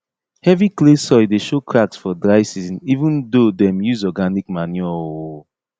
heavy clay soil dey show cracks for dry season even do dem use organic manure um